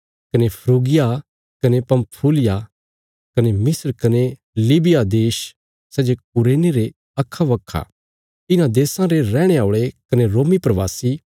कने फ्रूगिया कने पंफूलिया कने मिस्र कने लीबिया देश सै जे कुरेने रे अखाबखा इन्हां देशां रे रैहणे औल़े कने रोमी प्रवासी